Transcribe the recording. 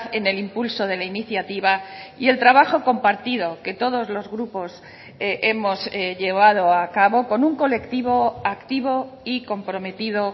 en el impulso de la iniciativa y el trabajo compartido que todos los grupos hemos llevado a cabo con un colectivo activo y comprometido